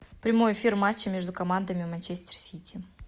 прямой эфир матча между командами манчестер сити